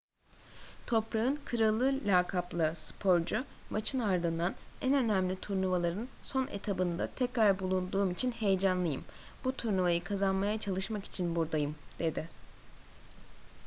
toprağın kralı lakaplı sporcu maçın ardından en önemli turnuvaların son etabında tekrar bulunduğum için heyecanlıyım bu turnuvayı kazanmaya çalışmak için buradayım dedi